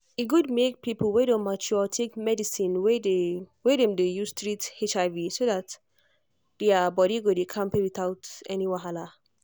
e good make people wey don mature take medicine wey dem dey use treat hiv so that their body go dey kampe without any wahala.